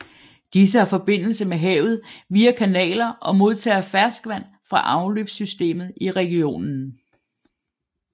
Disse har forbindelse med havet via kanaler og modtager ferskvand fra afløbssystemet i regionen